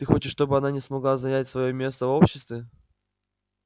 ты хочешь чтобы она смогла занять своё место в обществе